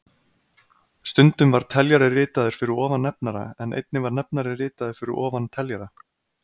Stundum var teljari ritaður fyrir ofan nefnara en einnig var nefnari ritaður fyrir ofan teljara.